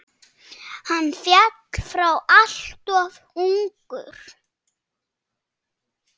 Hann féll frá alltof ungur.